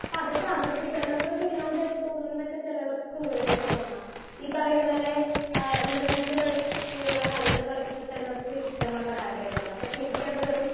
speaker 1 അപ്പൊ അതൊക്കെ അവർക്ക് ചെലവർക്ക് വിനോദായിട്ട് തോന്നുന്നൊക്കെ ചെലവർക്ക് ക്രൂരതായിട്ട് തോന്നാം ഈ പറയുന്ന പോലെ ഏഹ് ഇന്റർനെറ്റ് വൈ ഫെയിലുള്ള കളികൾ കളിക്കുന്ന ചെലവർക്ക് ഇഷ്ട്ടമുള്ള കാര്യായിരിക്കാം പക്ഷെ എനിക്ക് അത് വെറും